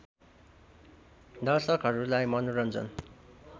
दर्शकहरूलाई मनोरन्जन